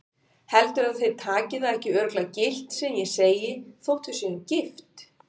Heldurðu að þeir taki það ekki örugglega gilt sem ég segi þótt við séum gift?